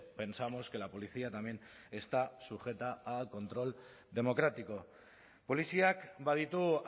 pensamos que la policía también está sujeta al control democrático poliziak baditu